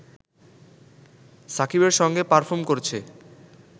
সাকিবের সঙ্গে পার্ফম করেছে